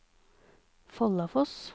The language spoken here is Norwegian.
Follafoss